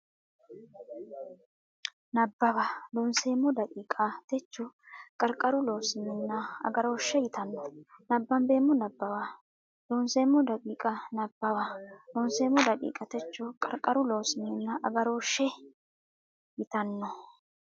Nabbawa Loonseemmo daqiiqa techo Qarqaru Loossinanni Agarooshshe yitanno nabbambeemmo Nabbawa Loonseemmo daqiiqa Nabbawa Loonseemmo daqiiqa techo Qarqaru Loossinanni Agarooshshe yitanno.